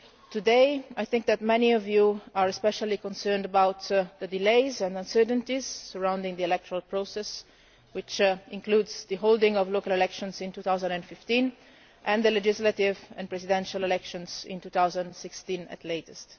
Today I think that many of you are especially concerned about the delays and uncertainties surrounding the electoral process, which includes the holding of local elections in 2015 and the legislative and presidential elections in 2016 at the latest.